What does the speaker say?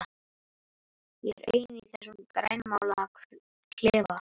Ég er ein í þessum grænmálaða klefa.